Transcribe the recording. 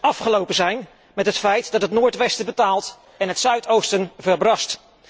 Het moet maar eens afgelopen zijn met het feit dat het noordwesten betaalt en het zuidoosten verbrast.